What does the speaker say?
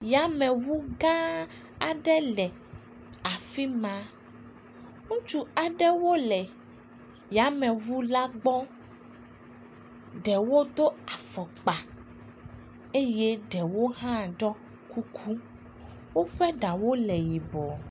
Yameŋu gã aɖe le afi ma. Ŋutsu aɖewo le yameŋu la gbɔ. Ɖewo do afɔkpa eye ɖewo hã ɖɔ kuku. Woƒe ɖaw le yibɔ.